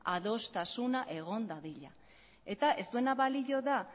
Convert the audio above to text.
adostasuna egon dadila eta ez duena balio da